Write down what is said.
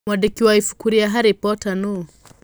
Mwandĩki wa ibuku rĩa Harry Potter nũ?